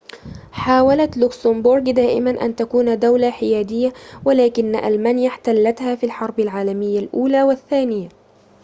حاولت لوكسمبورغ دائمًا أن تكون دولة حيادية ولكن ألمانيا احتلتها في الحرب العالمية الأولى والثانية